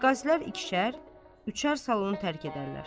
Rəqqaslər ikişər, üçər salonu tərk edərlər.